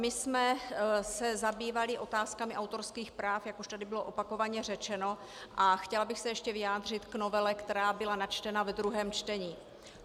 My jsme se zabývali otázkami autorských práv, jak už tady bylo opakovaně řečeno, a chtěla bych se ještě vyjádřit k novele, která byla načtena ve druhém čtení.